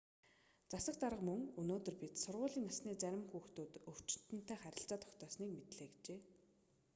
засаг дарга мөн өнөөдөр бид сургуулийн насны зарим хүүхдүүд өвчтөнтэй харилцаа тогтоосныг мэдлээ гэжээ